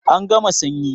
An gama sanyi